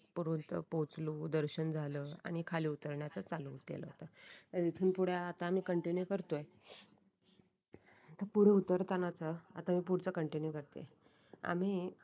पुढून तर पोचलो दर्शन झालं आणि खाली उतरण्याचे चालू केल होतं इथून पुढे आता आम्ही कंटिन्यू करतोय आता पुढे उत्तर ताणाचा आता पुढचं कंटिन्यू करते आम्ही